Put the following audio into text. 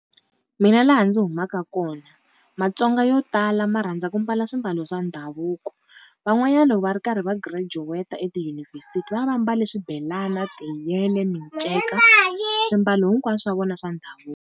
Mina laha ndzi humaka kona Matsonga yo tala ma rhandza ku mbala swimbalo swa ndhavuko. Van'wanyana loko va ri karhi va girajuweta etiyunivhesiti va va va mbalie swibelani, tiyele, minceka swimbalo hinkwaswo swa vona swa ndhavuko.